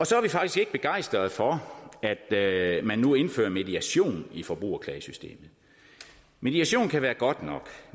så er vi faktisk ikke begejstrede for at man nu indfører mediation i forbrugerklagesystemet mediation kan være godt nok